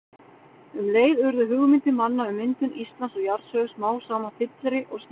Um leið urðu hugmyndir manna um myndun Íslands og jarðsögu smám saman fyllri og skýrari.